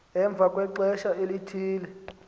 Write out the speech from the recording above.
emva kwexesha elithile